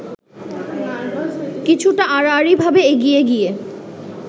কিছুটা আড়াআড়িভাবে এগিয়ে গিয়ে